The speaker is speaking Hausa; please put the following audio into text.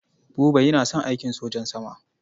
Buba yana son aikin sojan sama.